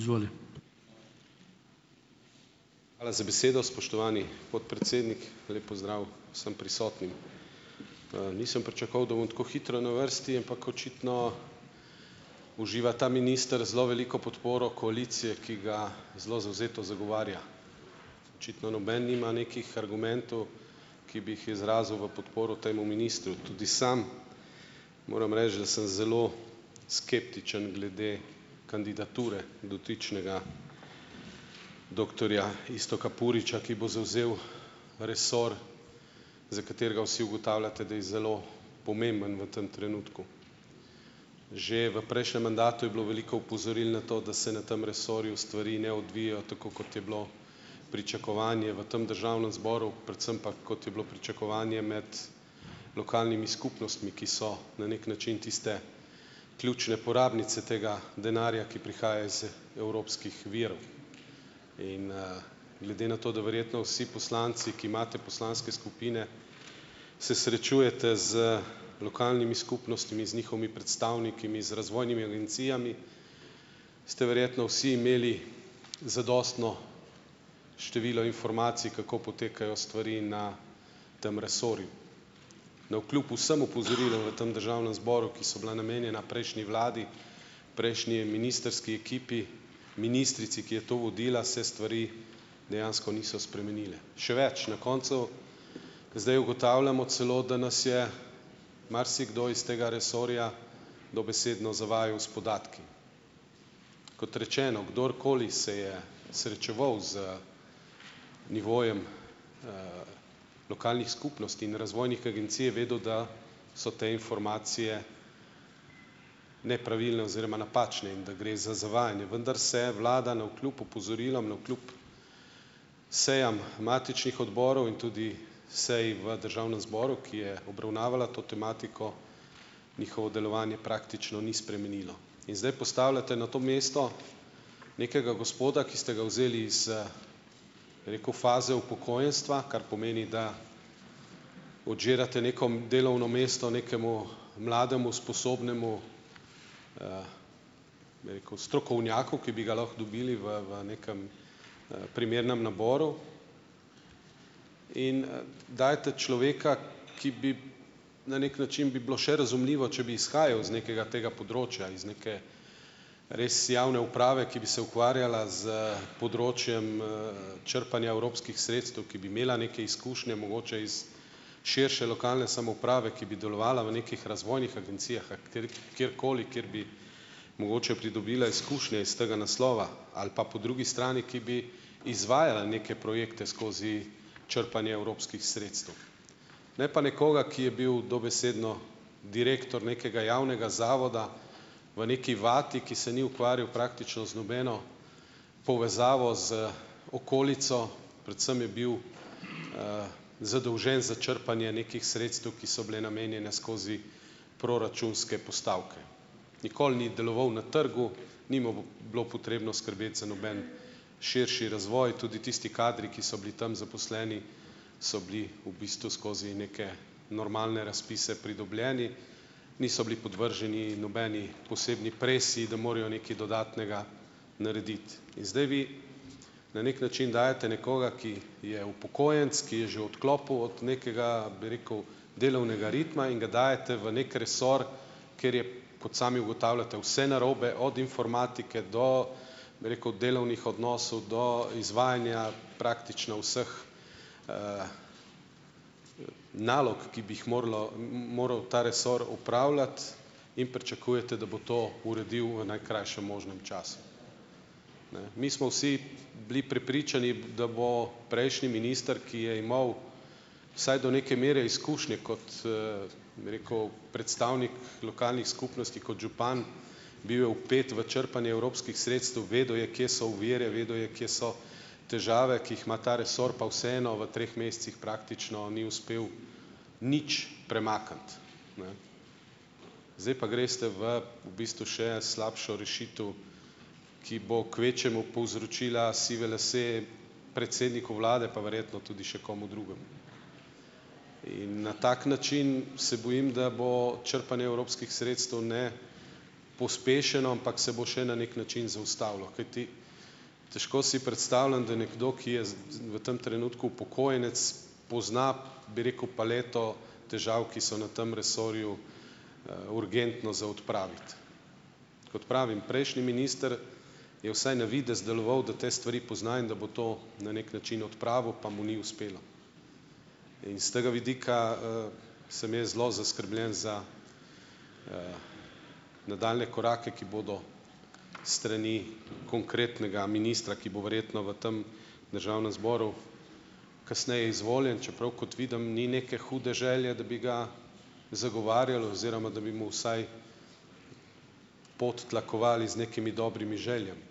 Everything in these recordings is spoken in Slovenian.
Hvala za besedo, spoštovani podpredsednik. Lep pozdrav vsem prisotnim! Nisem pričakoval, da bom tako hitro na vrsti, ampak očitno uživa ta minister zelo veliko podporo koalicije, ki ga zelo zavzeto zagovarja, očitno noben nima nekih argumentov, ki bi jih izrazil v podporo temu ministru, tudi sam moram reči, da sem zelo skeptičen glede kandidature dotičnega doktorja Iztoka Puriča, ki bo zavzel resor za katerega vsi ugotavljate, da je zelo pomemben v tam trenutku. Že v prejšnjem mandatu je bilo veliko opozoril na to, da se na tem resorju stvari ne odvijajo tako, kot je bilo pričakovanje v tem državnem zboru, predvsem pa, kot je bilo pričakovanje med lokalnimi skupnostmi, ki so na neki način tiste ključne porabnice tega denarja, ki prihaja iz evropskih virov in, glede na to, da verjetno vsi poslanci, ki imate poslanske skupine, se srečujete z lokalnimi skupnostmi, z njihovimi predstavniki, z razvojnimi agencijami, ste verjetno vsi imeli zadostno število informacij, kako potekajo stvari na tem resorju. Navkljub vsem opozorilom v tem državnem zboru, ki so bila namenjena prejšnji vladi, prejšnji ministrski ekipi, ministrici, ki je to vodila, se stvari dejansko niso spremenile. Še več, na koncu zdaj ugotavljamo celo, da nas je marsikdo iz tega resorja dobesedno zavajal s podatki. Kot rečeno, kdorkoli se je srečeval z nivojem lokalnih skupnosti in razvojnih agencij, je vedel, da so te informacije nepravilne oziroma napačne in da gre za zavajanje, vendar se vlada navkljub opozorilom navkljub sejam matičnih odborov in tudi seji v državnem zboru, ki je obravnavala to tematiko, njihovo delovanje praktično ni spremenilo. In zdaj postavljate na to mesto nekega gospoda, ki ste ga vzeli iz, bi rekel faze upokojenstva, kar pomeni, da odžirate neko, delovno mesto nekemu mlademu sposobnemu, bi rekel, strokovnjaku, ki bi ga lahko dobili v, v nekem, primernem naboru in, dajete človeka, ki bi na neki način bi bilo še razumljivo, če bi izhajal iz nekega tega področja, iz neke res javne uprave, ki bi se ukvarjala s področjem, črpanja evropskih sredstev, ki bi imela neke izkušnje mogoče iz širše lokalne samouprave, ki bi delovala v nekih razvojnih agencijah, a katerih kateri koli kateri bi mogoče pridobila izkušnje iz tega naslova, ali pa po drugi strani, ki bi izvajala neke projekte skozi črpanje evropskih sredstev. Ne pa nekoga, ki je bil dobesedno direktor nekega javnega zavoda, v neki vati, ki se ni ukvarjal praktično z nobeno povezavo z okolico, predvsem je bil, zadolžen za črpanje nekih sredstev, ki so bila namenjena skozi proračunske postavke. Nikoli ni deloval na trgu, ni mu bo bilo potrebno skrbeti za noben širši razvoj. Tudi tisti kadri, ki so bili tam zaposleni, so bili v bistvu skozi neke normalne razpise pridobljeni, niso bili podvrženi nobeni posebni presiji, da morajo nekaj dodatnega narediti. In zdaj vi, na neki način dajete nekoga, ki je upokojenec, ki je že odklopil od nekega, bi rekel, delovnega ritma in ga dajete v neki resor, kjer je, kot sami ugotavljate, vse narobe, od informatike do, bi rekel, delovnih odnosov, do izvajanja praktično vseh, nalog, ki bi jih moralo, moral ta resor opravljati, in pričakujete, da bo to uredil v najkrajšem možnem času. Ne ... Mi smo vsi bili prepričani, da bo prejšnji minister, ki je imel vsaj do neke mere, izkušnje kot, bi rekel, predstavnik lokalnih skupnosti kot župan, bil je vpet v črpanje evropskih sredstev, vedel je, kje so ovire, vedel je, kje so težave, ki jih ima ta resor, pa vseeno, v treh mesecih praktično ni uspel nič premakniti. Ne ... Zdaj pa greste v, v bistvu, še slabšo rešitev, ki bo kvečjemu povzročila sive lase predsedniku vlade, pa verjetno tudi še komu drugemu in na tak način, se bojim, da bo črpanje evropskih sredstev ne pospešeno, ampak se bo še na neki način zaustavilo, kajti težko si predstavljam, da nekdo, ki je z, z v tem trenutku upokojenec, pozna, bi rekel, paleto težav, ki so na tam resorju, urgentno za odpraviti. Kot pravim, prejšnji minister je vsaj na videz deloval, da te stvari pozna in da bo to na neki način odpravil, pa mu ni uspelo, in s tega vidika, sem jaz zelo zaskrbljen za nadaljnje korake, ki bodo s strani konkretnega ministra, ki bo verjetno v tem državnem zboru kasneje izvoljen, čeprav kot vidim, ni neke hude želje, da bi ga zagovarjali oziroma, da bi mu vsaj pot tlakovali z nekimi dobrimi željami.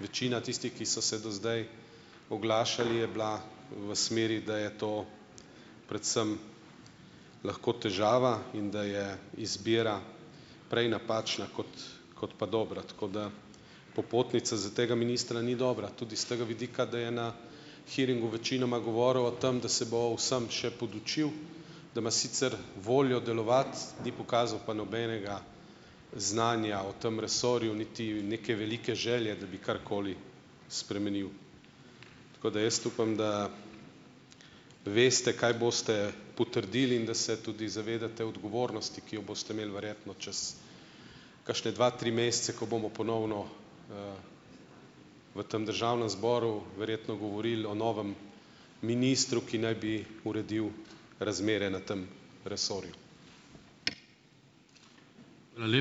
Večina tistih, ki so se do zdaj oglašali, je bila v smeri, da je to predvsem lahko težava in da je izbira prej napačna kot kot pa dobra. Tako da popotnica za tega ministra ni dobra, tudi s tega vidika, da je na hearingu večinoma govoril o tem, da se bo o vsem še podučil, da ima sicer voljo delovati, ni pokazal pa nobenega znanja o tem resorju, niti neke velike želje, da bi karkoli spremenil, tako da, jaz upam, da veste, kaj boste potrdili, in da se tudi zavedate odgovornosti, ki jo boste imeli verjetno čez kakšne dva, tri mesece, ko bomo ponovno v tem državnem zboru verjetno govorili o novem ministru, ki naj bi uredil razmere na tem resorju.